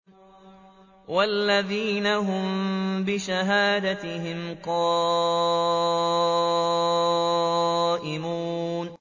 وَالَّذِينَ هُم بِشَهَادَاتِهِمْ قَائِمُونَ